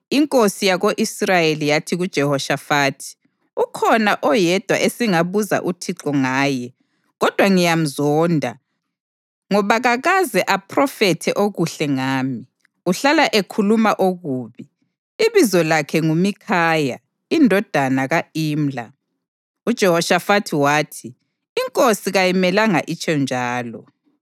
Inkosi yako-Israyeli yathi kuJehoshafathi, “Ukhona oyedwa esingabuza uThixo ngaye kodwa ngiyamzonda ngoba kakaze aphrofethe okuhle ngami, uhlala ekhuluma okubi. Ibizo lakhe nguMikhaya indodana ka-Imla.” UJehoshafathi wathi, “Inkosi kayimelanga itsho njalo.”